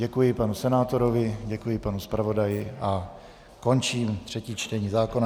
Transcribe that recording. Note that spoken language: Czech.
Děkuji panu senátorovi, děkuji panu zpravodaji a končím třetí čtení zákona.